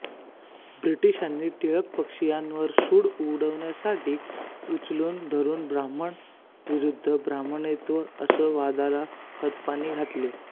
ब्रिटिशांनी टिळक पक्षियांवर सूड उगवण्यासाठी त्यास उचलून धरुन ब्राह्मण विरुद्ध ब्राह्मणेतर असा वादाला खतपाणी घातले